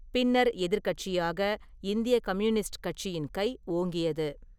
பின்னர் எதிர்க்கட்சியாக இந்திய கம்யூனிஸ்ட் கட்சியின் கை ஓங்கியது.